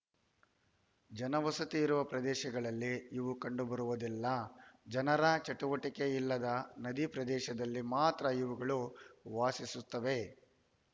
ಜನವಸತಿ ಇರುವ ಪ್ರದೇಶಗಳಲ್ಲಿ ಇವು ಕಂಡುಬರುವುದಿಲ್ಲ ಜನರ ಚಟುವಟಿಕೆ ಇಲ್ಲದ ನದಿ ಪ್ರದೇಶದಲ್ಲಿ ಮಾತ್ರ ಇವುಗಳು ವಾಸಿಸುತ್ತವೆ